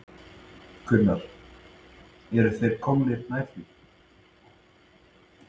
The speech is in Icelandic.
Gunnar: Eru þeir komnir nær því?